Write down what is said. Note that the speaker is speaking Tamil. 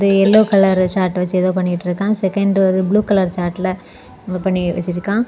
எல்லோ கலர் சார்ட் வெச்சி ஏதோ பண்ணிட்ருக்கான் செகண்ட் வந்து ப்ளூ கலர் சார்ட்ல என்னமோ பண்ணி வச்சிருக்கான்.